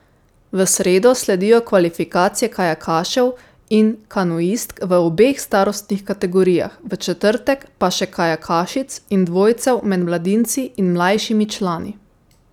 V sredo sledijo kvalifikacije kajakašev in kanuistk v obeh starostnih kategorijah, v četrtek pa še kajakašic in dvojcev med mladinci in mlajšimi člani.